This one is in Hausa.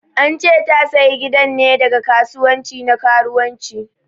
An che ta sayi gidan ne daga kasuwanci na karuwanci.